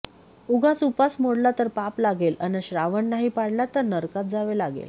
उगाच उपास मोडला तर पाप लागेल अन श्रावण नाही पाळला तर नरकात जावे लागेल